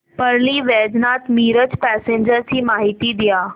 Parli Vaijnath Miraj passenger ची माहिती द्या